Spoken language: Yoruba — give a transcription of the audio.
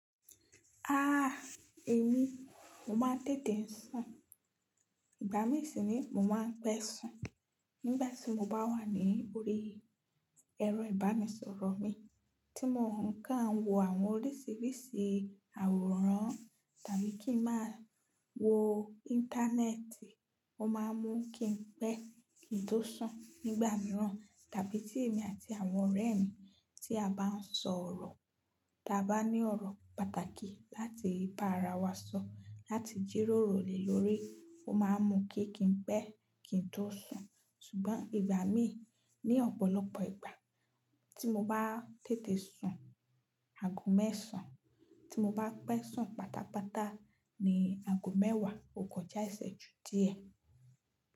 Èmi mo máa ń tètè ń sùn. Ìgbà mi sì ni mo máa ń pẹ̀ sùn. Nígbà tí mo bá wà ní orí ẹrọ ibanisọrọ mi tí mò ń kàn wo àwọn oríṣìíríṣìí àwòrán tàbí kí màá wo Íńtánẹ́ẹ̀tì, ó máa mú kí n pẹ̀ kí n tó sùn. Nígbà mìíràn tàbí tí èmi àti àwọn ọ̀rẹ́ mi tí a bá ń sọ̀rọ̀, ta bá ní ọ̀rọ̀ pàtàkì láti bá ara wa sọ, láti jírórò lé lórí, ó máa ń mú kí n pẹ̀ kí n tó sùn. Ṣùgbọ́n ìgbà mí ní ọ̀pọ̀lọpọ̀ ìgbà tí mo bá tètè sùn aago mẹ́sàn, tí mo bá pẹ̀ sùn pátápátá ni aago mẹ́wàá, o kọjá ìsẹ́jú díẹ̀.